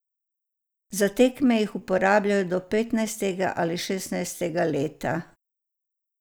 Za tekme jih uporabljajo do petnajstega ali šestnajstega leta.